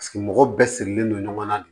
Paseke mɔgɔ bɛɛ sigilen don ɲɔgɔn na de